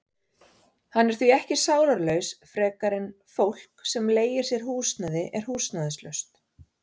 Hann er því ekki sálarlaus frekar en fólk sem leigir sér húsnæði er húsnæðislaust.